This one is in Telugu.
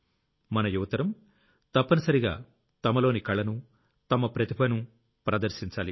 మన యువతరం తప్పనిసరిగా తమలోని కళను తమ ప్రతిభను ప్రదర్శించాలి